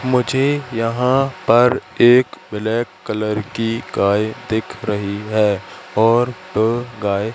मुझे यहां पर एक ब्लैक कलर की गाय दिख रही है और अ गाय--